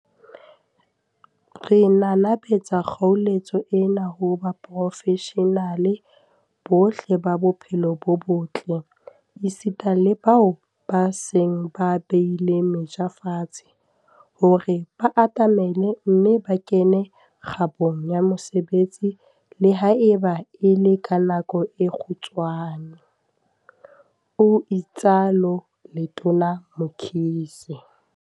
"Re nanabetsa kgoeletso ena ho baporofeshenale bohle ba bophelo bo botle, esita le bao ba seng ba beile meja fatshe, hore ba atamele mme ba kene kgabong ya mosebetsi, le haeba e le ka nako e kgutshwane," o itsalo Letona Mkhize.